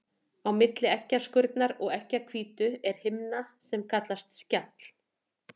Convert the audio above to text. Á milli eggjaskurnar og eggjahvítu er himna sem kallast skjall.